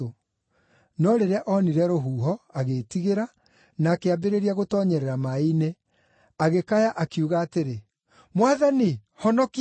No rĩrĩa oonire rũhuho, agĩĩtigĩra, na akĩambĩrĩria gũtoonyerera maaĩ-inĩ, agĩkaya, akiuga atĩrĩ, “Mwathani, honokia!”